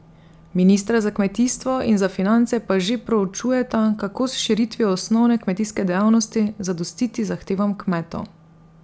Ministra za kmetijstvo in za finance pa že proučujeta, kako s širitvijo osnovne kmetijske dejavnosti, zadostiti zahtevam kmetov.